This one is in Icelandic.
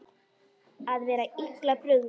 Að vera illa brugðið